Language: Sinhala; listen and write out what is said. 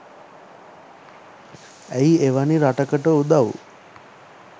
ඇයි එවැනි රටකට උදව්